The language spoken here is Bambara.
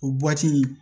O in